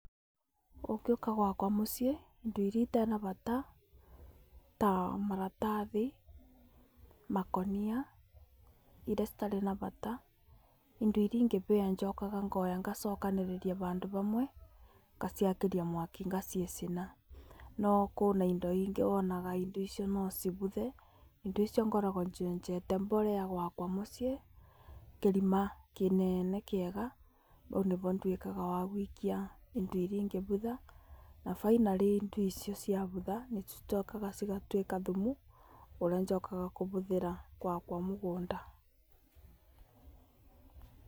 Ũngĩũka gwakwa mũciĩ indo iria itena bata ta maratathi, makonia, iria citarĩ na bata indo iria ingĩhĩa njokaga ngoya ngacokanĩrĩria handũ hamwe, ngaciakĩrĩa mwaki ngaciĩ cina no kũna indo ingĩ wonaga indo icio noci buthe, indo icio ngoragwo nyenjete borera gwakwa mũciĩ, kĩrima kĩnene kĩega haũ nĩho nduĩkaga ha gũikia windo iria ingĩbutha na finally indo icio cia butha cicokaga cigatuĩka thumu ũrĩa njokaga kũhũthĩra gwakwa mũgũnda.